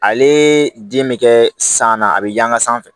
Ale den bɛ kɛ san na a bɛ yanga sanfɛ